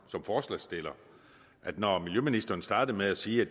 som forslagsstiller når miljøministeren starter med at sige at